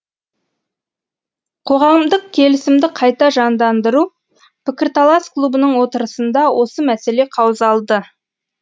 қоғамдық келісімді қайта жандандыру пікірталас клубының отырысында осы мәселе қаузалды